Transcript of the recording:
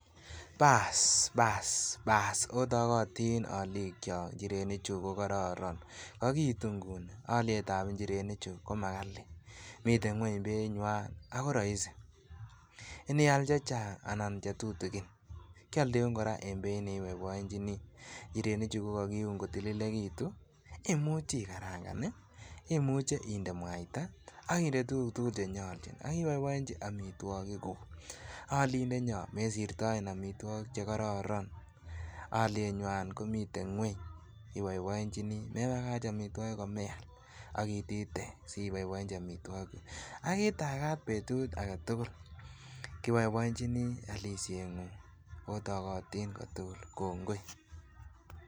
Paas! paas! paas! otokotin olikyok njirenik chuu kokorokon kokiitu inguni oliet ab ingirenii chuu komakalii miten ngueny bei nywan ako roisi, iniial chechang anan chetutukin kioldeun koraa en beit ne iboiboenchinii ,njireni chuu kokokiun kotililekitun imuche igaranka hii, imuche inde muaita akinde tukuk tukuk chenyoljin akiboiboyenji omitwokikuu. Olindenyon mesirtoen omitwokik chekororon oliyeeywan komiten ngueny iboiboenchinii mebakach omitwokik komeal ok itite siboiboench omitwokik ak itagaat betut aketukul kiboiboenchinii olisyengu otokotin kotukul kongoi.